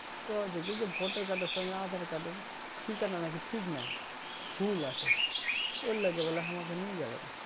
কৈছে কি যে voter card এর সঙ্গে aadhar card এর ঠিকানা নাকি ঠিক নাই ভুল আছে ঐলেগে বলে আমার নিয়ে যাবে না